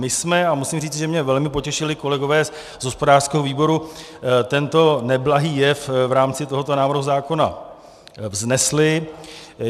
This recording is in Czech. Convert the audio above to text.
My jsme, a musím říci, že mě velmi potěšili kolegové z hospodářského výboru, tento neblahý jev v rámci tohoto návrhu zákona vznesli.